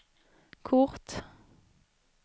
kort